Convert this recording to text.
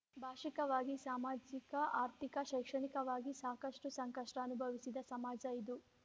ಭಾಷಿಕವಾಗಿ ಸಾಮಾಜಿಕ ಆರ್ಥಿಕ ಶೈಕ್ಷಣಿಕವಾಗಿ ಸಾಕಷ್ಟುಸಂಕಷ್ಟಅನುಭವಿಸಿದ ಸಮಾಜ ಇದು